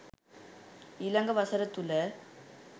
ඊළඟ වසර තුළ